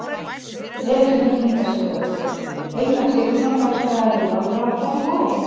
Elísabet Inga Sigurðardóttir: Einar Sigfússon, rekstraraðili Norðurár, hvernig var þetta í morgun?